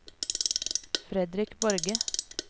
Fredrik Borge